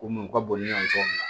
Ko mun ka bon ni yan cogo min na